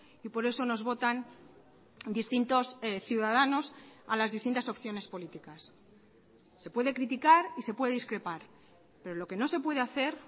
y por eso nos votan distintos ciudadanos a las distintas opciones políticas se puede criticar y se puede discrepar pero lo que no se puede hacer